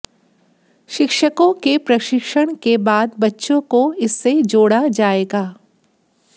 शिक्षकों के प्रशिक्षण के बाद बच्चों को इससे जोड़ा जाएगा